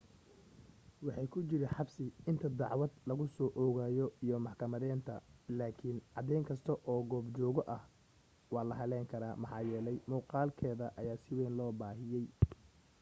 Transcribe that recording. waxay ku jiri xabsi inta dacwad lagu soo oogayo iyo maxkamadeynteeda laakiin cadeyn kasta oo goobjooge ah waa la hallayn karaa maxaa yeelay muuqaalkeeda si weyn ayaa loo baahiyay